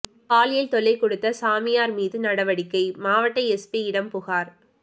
பாலியல் தொல்லை கொடுத்த சாமியார் மீது நடவடிக்கை மாவட்ட எஸ்பியிடம் புகார்